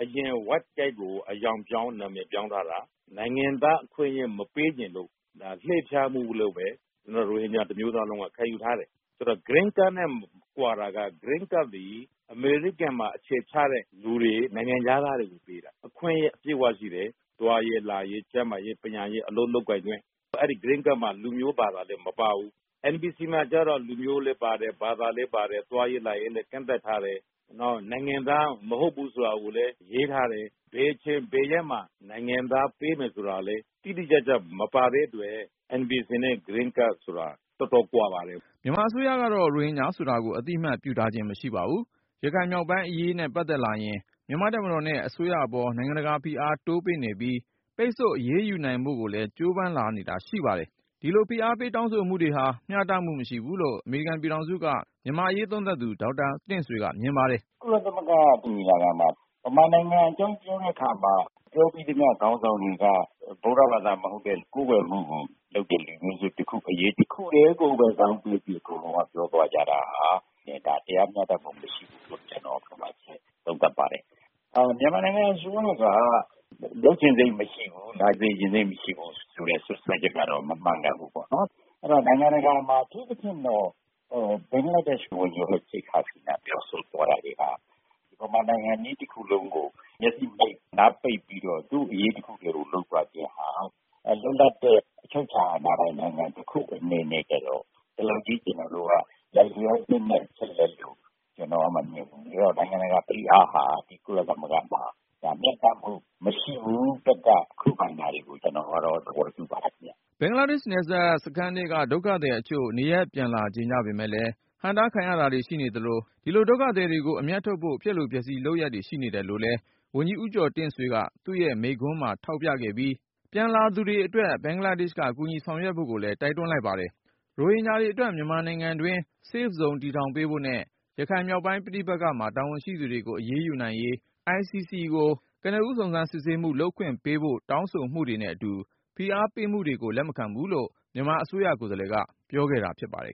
အရင် White Card ကို အရောင်ပြောင်း၊ နာမည်ပြောင်းထားတာ။ နိုင်ငံသားအခွင့်အရေး မပေးချင်လို့ ဒါ လှည့်ဖျားမှုလို့ပဲ ရိုဟင်ဂျာ တမျိုးသားလုံးက ခံယူထားတယ်။ Green Card နဲ့ ကွာတာက Green Card သည် အမေရိကန်မှာ အခြေချတဲ့လူတွေ၊ နိုင်ငံခြားသားတွေကို ပေးတာ။ အခွင့်အရေး အပြည့်အဝရှိတယ်။ သွားရေး၊ လာရေး၊ ကျန်းမာရေး၊ ပညာရေး၊ အလုပ်လုပ်ကိုင်ခွင့် အဲဒီ Green Card မှာ လူမျိုး ဘာသာတွေ မပါဘူး။ NVC မှာကျတော့ လူမျိုးလည်းပါတယ်၊ ဘာသာလည်းပါတယ်၊ သွားရေး လာရေးလည်း ကန့်သတ်ထားတယ်။ နောက် နိုင်ငံသားမဟုတ်ဘူး ဆိုတာကိုလည်း ရေးထားတယ်။ ဘယ်အချိန် ဘယ်ရက်မှာ နိုင်ငံသားပေးမယ် ဆိုတာလည်း တိတိကျကျ မပါတဲ့အတွက် NVC နဲ့ Green Card ဆိုတာ တော်တော်ကွာပါတယ်။” မြန်မာအစိုးရတော့ ရိုဟင်ဂျာဆိုတာကို အသိအမှတ်ပြုထားခြင်း မရှိပါဘူး။ ရခိုင်မြောက်ပိုင်းအရေးနဲ့ ပတ်သက်လာရင် မြန်မာ့တပ်မတော်နဲ့ အစိုးရအပေါ် နိုင်ငံတကာဖိအား တိုးပေးနေပြီး ပိတ်ဆို့အရေးယူနိုင်ဖို့ကိုလည်း ကြိုးပမ်းလာနေတာ ရှိပါတယ်။ ဒီလို ဖိအားပေးတောင်းဆိုမှုတွေဟာ မျှတမှုမရှိဘူးလို့ အမေရိကန်ပြည်ထောင်စုက မြန်မာ့အရေးသုံးသပ်သူ ဒေါက်တာတင့်ဆွေက မြင်ပါတယ်။ “ကုလသမဂ္ဂညီလာခံမှာ မြန်မာနိုင်ငံအကြောင်း ပြောသမျှ ခေါင်းဆောင်တွေက ဗုဒ္ဓဘာသာမဟုတ်တဲ့၊ ကိုးကွယ်မှုကိုလုပ်တဲ့ လူမျိုးစုတခုအရေး တခုတည်းကိုပဲ ဇောင်းပေးပြီး အကုန်လုံးက ပြောသွားကြတာဟာ တရားမျှတမှု မရှိဘူးလို့ ကျနော် သုံးသပ်ပါတယ်။ မြန်မာနိုင်ငံအစိုးရက လုပ်ချင်စိတ်မရှိဘူး၊ လာစေချင်စိတ် မရှိဘူးဆိုတဲ့ စွပ်စွဲချက်ကတော့ မမှန်ကန်ဘူးပေါ့။ နိုင်ငံတကာမှာ အထူးသဖြင့်တော့ ဘင်္ဂလားဒေ့ရှ် ဝန်ကြီးချုပ် Sheikh Hasina ပြောဆိုသွားတာတွေဟာ မြန်မာနိုင်ငံကြီး တခုလုံးကို မျက်စိမှိတ်၊ နားပိတ်ပြီးတော့ သူ့အရေးတခုတည်းကို လုပ်သွားခြင်းဟာ လွတ်လပ်တဲ့ အချုပ်အခြာအာဏာပိုင် နိုင်ငံတခုအနေနဲ့ကျတော့ ဒီလောက်ကြီး လိုက်လျောပေးလိုက်ဖို့ ကျနော် မမြင်ဘူး။ နိုင်ငံတကာဖိအားဟာ ကုလသမဂ္ဂမှာ မျှတမှုမရှိဘူး၊ သတ်မှတ် ခုခံတာတွေကို ကျနော်ကတော့ သဘောတူပါတယ်ခင်ဗျ။” ဘင်္ဂလားဒေ့ရှ် နယ်စပ်စခန်းထဲက ဒုက္ခသည်တချို့ နေရပ်ပြန်လာကြချင်ပေမယ့်လည်း ဟန့်တားခံရတာတွေ ရှိနေသလို ဒီလို ဒုက္ခသည်တွေကို အမြတ်ထုတ်ဖို့ ဖျက်လိုဖျက်ဆီးလုပ်ရပ်တွေ ရှိနေတယ်လို့လည်း ဝန်ကြီး ဦးကျော်တင့်ဆွေက သူ့ရဲ့ ကုလမိန့်ခွန်းမှာ ထောက်ပြပြီး ပြန်လာလိုသူတွေအတွက် ဘင်္ဂလားဒေ့ရှ်က ကူညီဆောင်ရွက်ဖို့ လိုကြောင်းလည်း တိုက်တွန်းလိုက်ပါတယ်။ ရိုဟင်ဂျာတွေအတွက် မြန်မာနိုင်ငံတွင်း Safe Zone တည်ထောင်ပေးဖို့နဲ့ ရခိုင်မြောက်ပိုင်း ပဋိပက္ခမှာ တာဝန်ရှိသူတွေကို အရေးယူနိုင်ရေး ICC ကို ကနဦး စုံစမ်းစစ်ဆေးမှု လုပ်ခွင့်ပေးဖို့ တောင်းဆိုမှုတွေနဲ့အတူ ဖိအားပေးမှုတွေကို လက်မခံဘူးလို့ မြန်မာအစိုးရ ကိုယ်စားလှယ်က ပြောခဲ့တာဖြစ်ပါတယ်